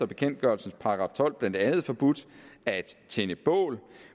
bekendtgørelses § tolv blandt andet forbudt at tænde bål